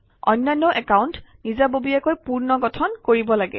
অন্যান্য একাউণ্ট নিজাববীয়াকৈ পুনৰ্গঠন কৰিব লাগে